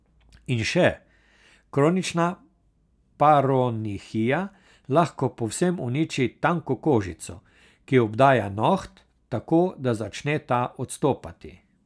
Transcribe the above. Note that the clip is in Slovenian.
In še, kronična paronihija lahko povsem uniči tanko kožico, ki obdaja noht, tako da začne ta odstopati.